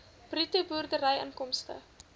bruto boerderyinkomste